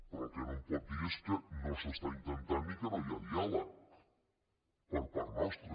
però el que no em pot dir és que no s’està intentant ni que no hi ha diàleg per part nostra